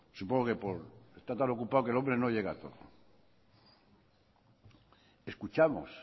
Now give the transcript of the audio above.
supongo que está tan ocupado que el hombre no llega a todo escuchamos